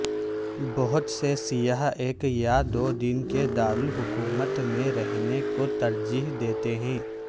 بہت سے سیاح ایک یا دو دن کے دارالحکومت میں رہنے کو ترجیح دیتے ہیں